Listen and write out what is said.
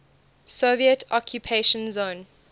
soviet occupation zone